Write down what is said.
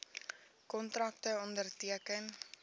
kontrakte onderteken